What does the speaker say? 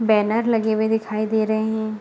Banner लगे हुए दिखाई दे रहे है।